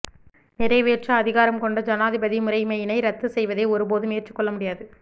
நிறைவேற்று அதிகாரம் கொண்ட ஜனாதிபதி முறைமையினை இரத்து செய்வதை ஒருபோதும் ஏற்றுக்கொள்ள முடியாது